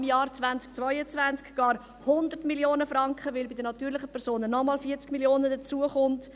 Ab dem Jahr 2022 sind es gar 100 Mio. Franken, weil bei den natürlichen Personen nochmals 40 Mio. Franken hinzukommen.